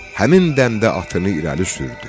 Həmin dəmdə atını irəli sürdü.